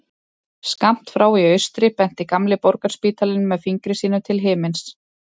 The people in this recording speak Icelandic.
Skammt frá í austri benti gamli Borgarspítalinn með fingri sínum til himins.